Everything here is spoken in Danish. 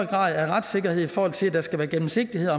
grad af retssikkerhed i forhold til at der skal være gennemsigtighed